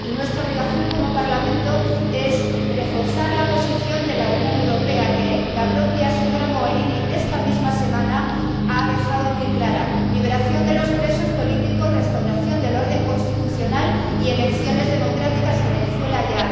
Y nuestra obligación como Parlamento es reforzar la posición de la Unión Europea, que la propia señora Mogherini, esta misma semana, ha dejado muy clara liberación de los presos políticos, restauración del orden constitucional y elecciones democráticas en Venezuela ya.